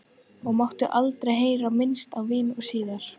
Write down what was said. Og mátti aldrei heyra minnst á vín síðan.